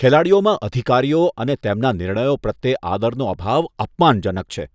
ખેલાડીઓમાં અધિકારીઓ અને તેમના નિર્ણયો પ્રત્યે આદરનો અભાવ અપમાનજનક છે.